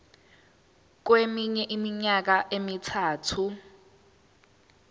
kweminye iminyaka emithathu